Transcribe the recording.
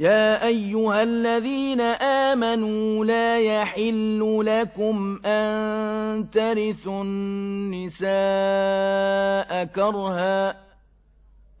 يَا أَيُّهَا الَّذِينَ آمَنُوا لَا يَحِلُّ لَكُمْ أَن تَرِثُوا النِّسَاءَ كَرْهًا ۖ